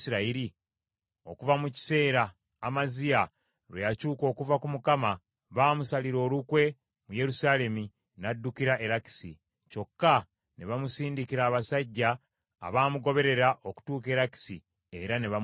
Okuva mu kiseera, Amaziya lwe yakyuka okuva ku Mukama , baamusalira olukwe mu Yerusaalemi, n’addukira e Lakisi. Kyokka ne bamusindikira abasajja abaamugoberera okutuuka e Lakisi, era ne bamuttira eyo.